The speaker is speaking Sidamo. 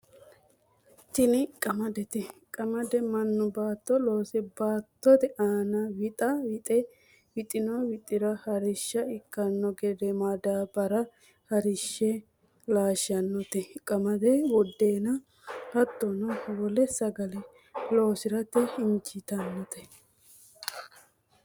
Tini qamadete, qamade manu baato loose baatote aana wixa wixe wixino wixira harisha ikkano gede madaabara harishe laashanotte, qamade budeena hatono wole sagale loosirate injitinote